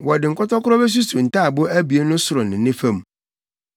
Wɔde nkɔtɔkoro besuso ntaaboo abien no soro ne ne fam.